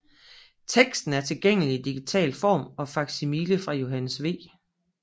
Teksten er tilgængelig i digital form og faksimile fra Johannes V